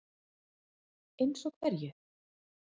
Telma Tómasson: Eins og hverju?